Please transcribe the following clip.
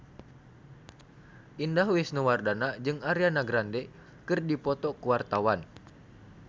Indah Wisnuwardana jeung Ariana Grande keur dipoto ku wartawan